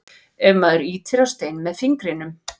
ef maður ýtir á stein með fingrinum